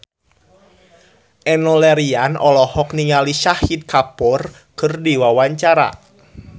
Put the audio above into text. Enno Lerian olohok ningali Shahid Kapoor keur diwawancara